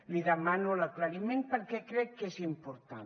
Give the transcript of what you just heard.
li demano l’aclariment perquè crec que és important